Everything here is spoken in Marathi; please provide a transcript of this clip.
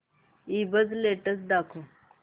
ईबझ लेटेस्ट दाखव